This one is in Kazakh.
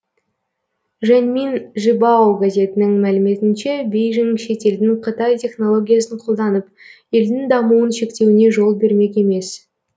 жэньминь жибао газетінің мәліметінше бейжің шетелдің қытай технологиясын қолданып елдің дамуын шектеуіне жол бермек емес